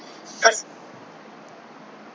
ਪਰ